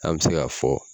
An bɛ se ka fɔ